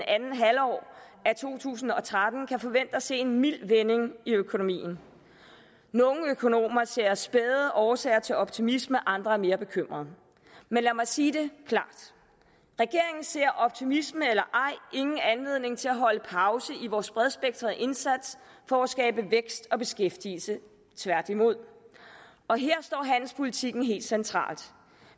andet halvår af to tusind og tretten kan forvente at se en mild vending i økonomien nogle økonomer ser spæde årsager til optimisme andre er mere bekymrede men lad mig sige det klart regeringen ser optimisme eller ej ingen anledning til at holde pause i vores bredspektrede indsats for at skabe vækst og beskæftigelse tværtimod og her står handelspolitikken helt centralt